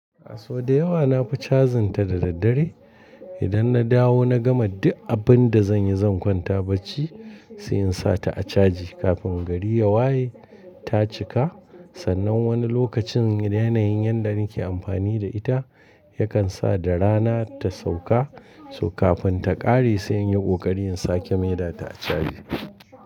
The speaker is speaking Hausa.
A so da yawa nafi cajin ta da daddare. Idan na dawo na gama duk abin da zanyi zan kwanta bacci, siyan sata a caji kafin gari ya waye ta cika. Sannan wani lokacin yanayin yanda nake amfani da ita yakan sa da rana ta sauka, kafin ta ƙare sai in yi ƙoƙari in sake mai data a caji.